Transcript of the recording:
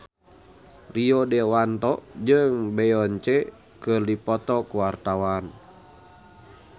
Rio Dewanto jeung Beyonce keur dipoto ku wartawan